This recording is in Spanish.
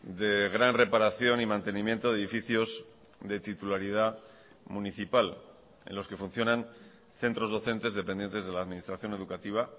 de gran reparación y mantenimiento de edificios de titularidad municipal en los que funcionan centros docentes dependientes de la administración educativa